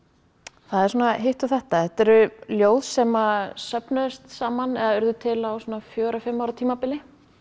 það er svona hitt og þetta þetta eru ljóð sem söfnuðust saman eða urðu til á svona fjögurra fimm ára tímabili